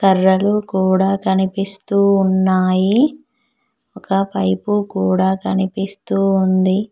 కర్రలు కూడా కనిపిస్తూ ఉన్నాయి ఒక వైపు కూడా కనిపిస్తుంది.